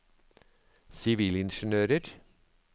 sivilingeniører